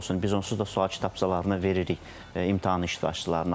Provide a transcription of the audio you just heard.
Biz onsuz da sual kitabçalarını veririk imtahan iştirakçılarına.